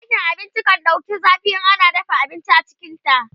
ɗakin abinci kan ɗauku zafi in ana dafa abinci a cikinta